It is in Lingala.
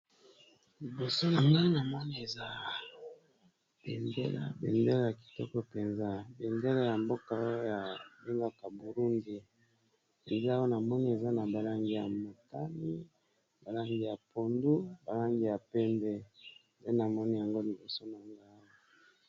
Liboso na nga na moni eza bendela bendela ya kitoko mpenza bendela ya mboka oyo ba bengaka burundi eza awa na moni eza na ba langi ya matani ba langi ya pondu ba langi ya pembe nde na moni yango liboso na nga awa.